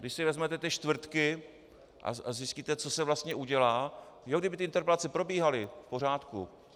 Když si vezmete ty čtvrtky a zjistíte, co se vlastně udělá - no kdyby ty interpelace probíhaly, v pořádku.